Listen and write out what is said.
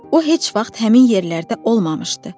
O heç vaxt həmin yerlərdə olmamışdı.